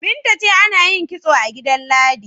Binta ce ana yin kitso a gida Ladi.